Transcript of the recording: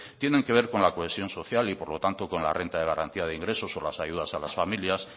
tienen que ver con la cohesión social y por lo tanto con la renta de garantía de ingresos o las ayudas a las familias